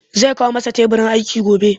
Zai kawo masa teburin aiki gobe